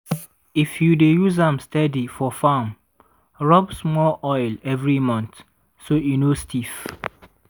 if you dey use am steady for farm rub small oil every month so e no stiff.